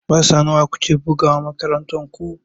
Wasanni nawa ku ke bugawa a makarantar ku?